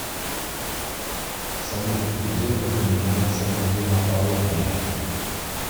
салют где упоминается гематология